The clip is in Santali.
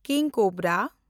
ᱠᱤᱝ ᱠᱳᱵᱨᱟ